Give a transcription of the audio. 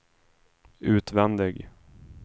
utvändig